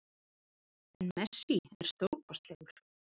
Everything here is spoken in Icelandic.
En Messi er stórkostlegur